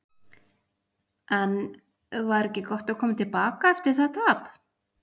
En var ekki gott að koma til baka eftir það tap?